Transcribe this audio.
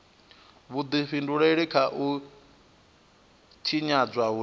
vhudifhinduleli kha u tshinyadzwa hune